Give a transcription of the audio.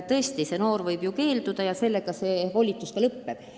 Tõesti, noor inimene võib abist keelduda ja sellega sotsiaaltöötaja volitused lõpevad.